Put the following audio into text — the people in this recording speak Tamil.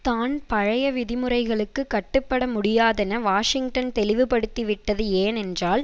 தான் பழைய விதிமுறைகளுக்கு கட்டுபட முடியாதென வாஷிங்டன் தெளிவுபடுத்திவிட்டது ஏனென்றால்